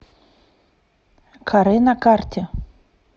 каре на карте